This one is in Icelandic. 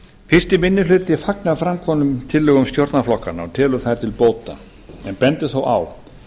fyrsti minni hluti fagnar framkomnum tillögum stjórnarflokkanna og telur þær til bóta en bendir þó á